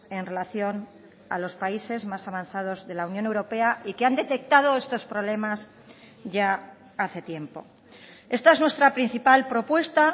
en relación a los países más avanzados de la unión europea y que han detectado estos problemas ya hace tiempo esta es nuestra principal propuesta